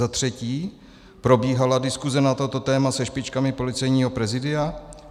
Za třetí: Probíhala diskuse na toto téma se špičkami Policejního prezídia?